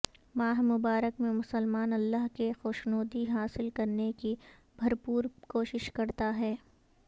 ماہ مبارک میں مسلمان اللہ کی خوشنودی حاصل کرنے کی بھرپور کوشش کرتا ہے